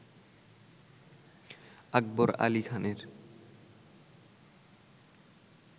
আকবর আলি খানের